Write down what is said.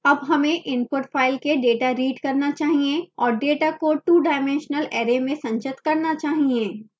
अब हमें input file file के data read करना चाहिए और data को two dimensional array में संचित करना चाहिए